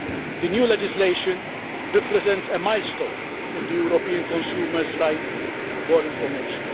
The new legislation represents a milestone in the European consumer's right to information.